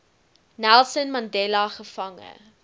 nelson mandela gevange